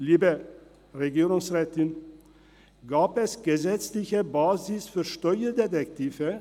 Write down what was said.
Liebe Regierungsrätin, gab es eine gesetzliche Basis für Steuerdetektive?